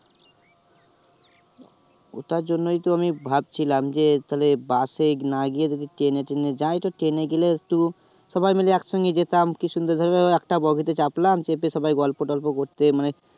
ওটার জন্যই তো আমি ভাবছিলাম যে তাইলে bus এ না গিয়ে যদি ট্রেনে তেনে যাই, তো ট্রেনে গেলে একটু সবাই মিলে একসঙ্গে যেতাম। কি সুন্দর ভাবে একটা বগীতে চাপলাম, চেপে সবাই গল্প তল্প করতে মানে